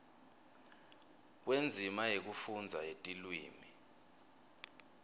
kwendzima yekufundza yetilwimi